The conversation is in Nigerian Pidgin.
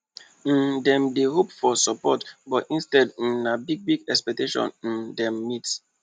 um dem dey hope for support but instead um na bigbig expectation um dem meet